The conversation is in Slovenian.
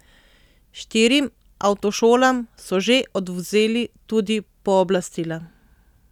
Štirim avtošolam so že odvzeli tudi pooblastila.